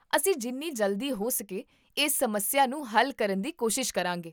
ਅਸੀਂ ਜਿੰਨੀ ਜਲਦੀ ਹੋ ਸਕੇ ਇਸ ਸਮੱਸਿਆ ਨੂੰ ਹੱਲ ਕਰਨ ਦੀ ਕੋਸ਼ਿਸ਼ ਕਰਾਂਗੇ